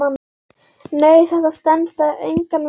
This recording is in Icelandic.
Nei, þetta stenst engan veginn.